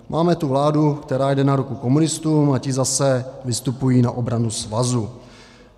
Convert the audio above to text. Máme tu vládu, která jde na ruku komunistům, a ti zase vystupují na obranu svazu.